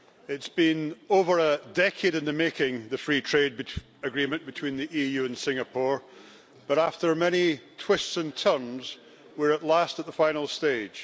It's been over a decade in the making, the Free Trade Agreement between the EU and Singapore, but after many twists and turns, we are at last at the final stage.